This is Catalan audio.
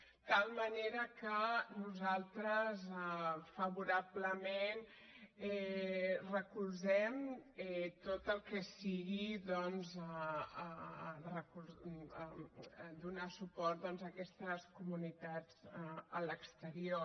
de tal manera que nosaltres favorablement recolzem tot el que sigui doncs donar suport a aquestes comunitats a l’exterior